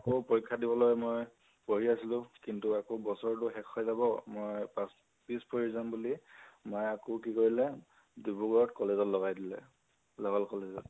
আকৌ পৰীক্ষা দিবলৈ মই পঢ়ি আছিলো, কিন্তু আকৌ বছৰ তো শেষ হৈ যাব, মই পাছ পিছ পৰি যাম বুলি, মাই আকৌ কি কৰিলে, ডিব্ৰুগড়ত college ত লগাই দিলে college ত ।